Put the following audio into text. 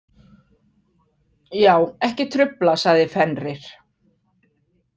Já, ekki trufla, sagði Fenrir.